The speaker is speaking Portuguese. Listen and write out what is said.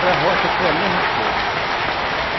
Para roça foi a mesma coisa.